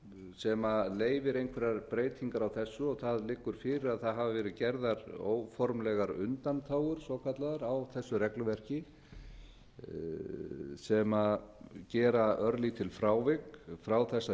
sem leyfir einhverjar breytingar á þessu það liggur fyrir að það hafi verið gerðar óformlegar undanþágur svokallaðar á þessu regluverki sem gera örlítil frávik frá þessari